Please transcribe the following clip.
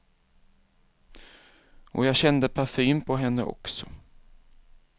Och jag kände parfym på henne också.